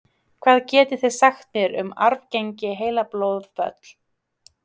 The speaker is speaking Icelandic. hvað getið þið sagt mér um arfgeng heilablóðföll